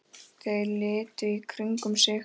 Þeir litu í kringum sig.